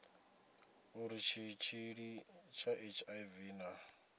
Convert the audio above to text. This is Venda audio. uri tshitshili tsha hiv na